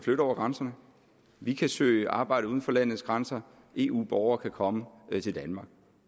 flytte over grænserne vi kan søge arbejde uden for landets grænser og eu borgere kan komme til danmark